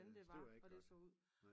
Ja støv er ikke godt ja